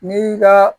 Ni ka